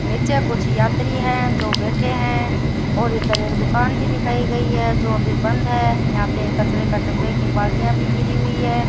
नीचे कुछ यात्री हैं जो बैठे हैं और इधर एक दुकान भी दिखाई गई है जो अभी बंद है यहां पे एक कचरे का डब्बे के बाल्टियां भी गिरी हुई है।